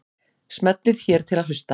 Smellið hér til að hlusta.